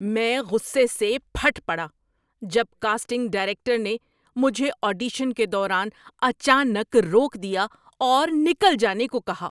میں غصے سے پھٹ پڑا جب کاسٹنگ ڈائریکٹر نے مجھے آڈیشن کے دوران اچانک روک دیا اور نکل جانے کو کہا۔